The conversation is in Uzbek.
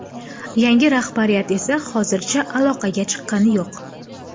Yangi rahbariyat esa hozircha aloqaga chiqqani yo‘q.